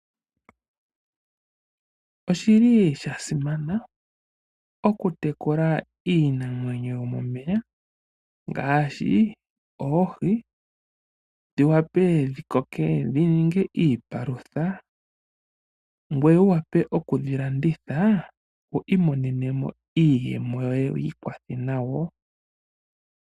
Oshili shasimana oku tekula iinamwenyo yomomeya. Ngaashi oohi dhi wape dhi koke dhi ninge iipalutha. Ngoye wu wape oku dhi landitha wu imonene mo iiyemo yoye wi ikwathe nayo.